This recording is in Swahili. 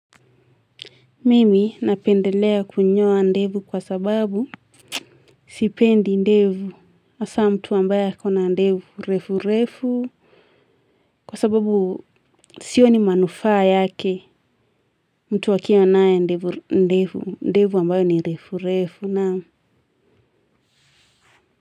Mimi napendelea kunyoa ndevu kwa sababu sipendi ndevu hasa mtu ambaye akona ndevu refu refu. Kwa sababu sioni manufaa yake. Mtu akiwanayo ndevu ambayo ni refu refu naa.